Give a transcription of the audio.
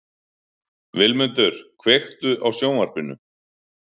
Vilmundur, kveiktu á sjónvarpinu.